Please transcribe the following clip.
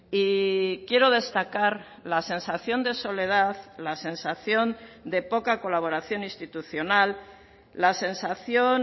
y quiero destacar la sensación de soledad la sensación de poca colaboración institucional la sensación